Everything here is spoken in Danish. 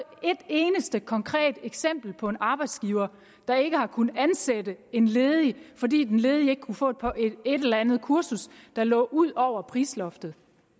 eneste konkret eksempel på en arbejdsgiver der ikke har kunnet ansætte en ledig fordi den ledige ikke kunne få et eller andet kursus der lå ud over prisloftet